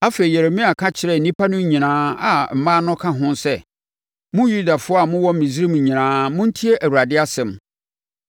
Afei, Yeremia ka kyerɛɛ nnipa no nyinaa a mmaa no ka ho sɛ, “Mo Yudafoɔ a mowɔ Misraim nyinaa montie Awurade asɛm.